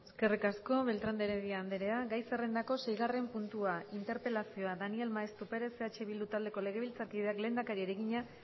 eskerrik asko beltrán de heredia andrea gai zerrendako seigarren puntua interpelazioa daniel maeztu perez eh bildu taldeko legebiltzarkideak lehendakariari egina